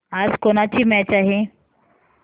आज कोणाची मॅच आहे